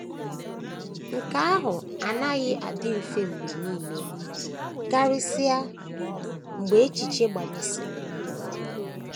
Nke ahụ anaghị adị mfe mgbe nile, karịsịa mgbe echiche gbanyesiri mkpọrọgwụ ike.